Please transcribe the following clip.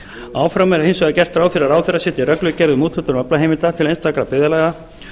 áfram er hins vegar gert ráð fyrir að ráðherra setji reglugerð um úthlutun aflaheimilda til einstakra byggðarlaga